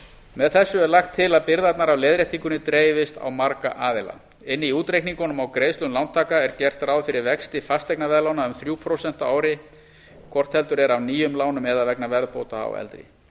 með þessu er lagt til að byrðarnar af leiðréttingunni dreifist á marga aðila inni í útreikningum á greiðslum lántaka er gert ráð fyrir vexti fasteignaveðlána um þrjú prósent á ári hvort heldur er af nýjum lánum eða vegna verðbóta á eldri